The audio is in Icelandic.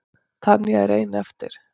Tanya er ein eftir.